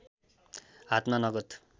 हातमा नगद